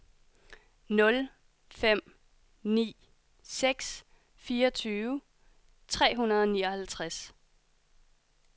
nul fem ni seks fireogtyve tre hundrede og nioghalvtreds